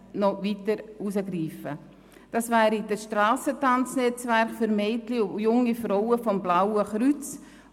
Einerseits ist dies das Strassentanz-Netzwerk für Mädchen und junge Frauen des Blauen Kreuzes.